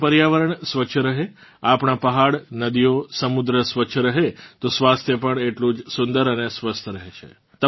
આપણું પર્યાવરણ સ્વચ્છ રહે આપણાં પહાડનદીઓ સમુદ્ર સ્વચ્છ રહે તો સ્વાસ્થ્ય પણ એટલું જ સુંદર અને સ્વસ્થ રહે છે